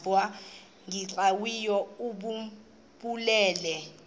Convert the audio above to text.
nbu cwengileyo obunobubele